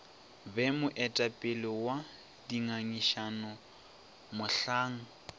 be moetapele wa dingangišano mohlang